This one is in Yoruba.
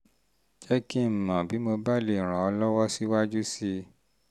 jẹ́ kí um n mọ̀ bí mo bá lè um ràn ọ́ lọ́wọ́ síwájú sí i síwájú sí i